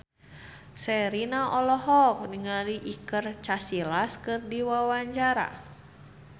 Sherina olohok ningali Iker Casillas keur diwawancara